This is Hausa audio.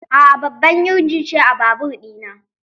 A'a, babban injin ce a babur ɗina